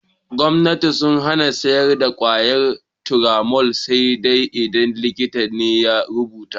Gomnati sun hana siyar da ƙwayar Turamol sai dai idan likita ne ya rubuta.